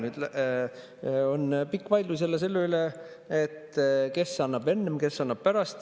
No näe, nüüd on pikk vaidlus jälle selle üle, kes annab enne, kes annab pärast.